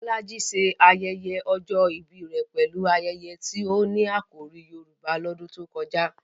Bolaji ṣe ayẹyẹ ọjọ́ ìbí rẹ̀ pẹ̀lú ayẹyẹ tí ó ní àkòrí Yorùbá lọ́dún tó kọjá.